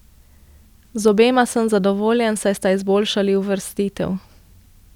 Z obema sem zadovoljen, saj sta izboljšali uvrstitev.